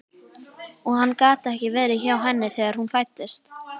Og hann gat ekki verið hjá henni þegar hún fæddist.